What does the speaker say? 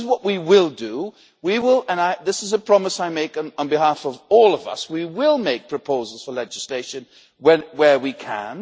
This is what we will do and this is a promise I make on behalf of all of us we will make proposals for legislation where we can.